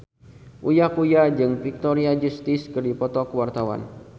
Uya Kuya jeung Victoria Justice keur dipoto ku wartawan